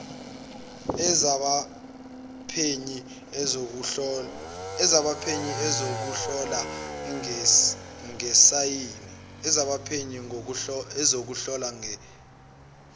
ezabaphenyi ezokuhlola ngesayensi